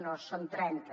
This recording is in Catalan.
no en són trenta